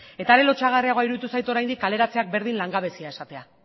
eta are lotsagarriagoa iruditu zait oraindik kaleratzeak berdin langabezia esatea